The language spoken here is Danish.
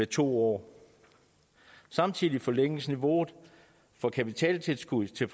to år samtidig forlænges niveauet for kapitaltilskud til